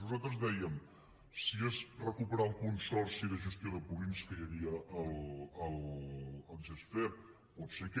nosaltres dèiem que si és recuperar el consorci de gestió de purins que hi havia al gesfer pot ser aquest